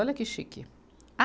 Olha que chique. A